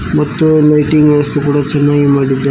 ಮತ್ತು ಲೈಟಿಂಗ್ ವ್ಯವಸ್ಥೆ ಕೂಡ ಚೆನ್ನಾಗಿ ಮಾಡಿದ್ದಾರೆ.